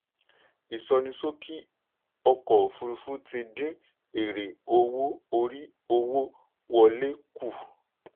ìsọníṣókì ọkọ̀ òfurufú ti dín èrè owó orí owó wọlé kù.